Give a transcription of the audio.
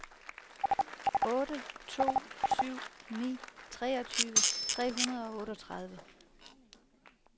otte to syv ni treogtyve tre hundrede og otteogtredive